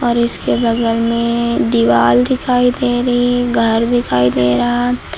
और इसके बगल में दीवाल दिखाई दे रही है घर दिखाई दे रहा।